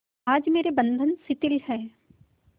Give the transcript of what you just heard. आज मेरे बंधन शिथिल हैं